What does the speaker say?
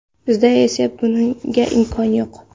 Bizda esa bunga imkon yo‘q.